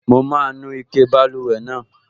Mo máa nu ike báluwẹ̀ náà